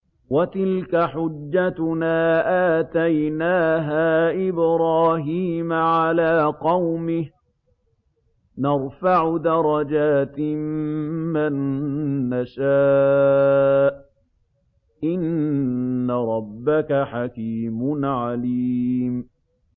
وَتِلْكَ حُجَّتُنَا آتَيْنَاهَا إِبْرَاهِيمَ عَلَىٰ قَوْمِهِ ۚ نَرْفَعُ دَرَجَاتٍ مَّن نَّشَاءُ ۗ إِنَّ رَبَّكَ حَكِيمٌ عَلِيمٌ